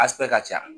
ka ca